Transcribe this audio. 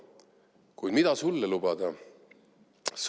Kuid mida sulle lubada?